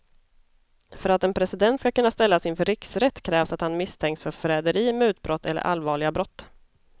För att en president ska kunna ställas inför riksrätt krävs att han misstänks för förräderi, mutbrott eller allvarliga brott.